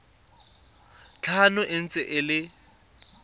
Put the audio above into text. tlhano e ntse e le